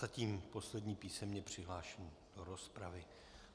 Zatím poslední písemně přihlášený do rozpravy.